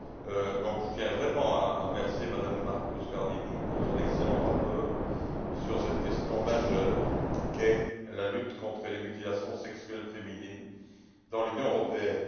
Je tiens vraiment à remercier Mme Muscardini pour son excellent rapport sur cette question majeure qu'est la lutte contre les mutilations sexuelles féminines dans l'Union européenne.